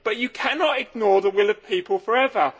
One cannot ignore the will of people forever.